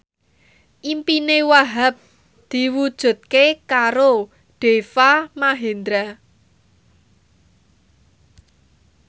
impine Wahhab diwujudke karo Deva Mahendra